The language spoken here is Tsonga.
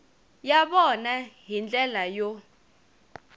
ya vona hi ndlela yo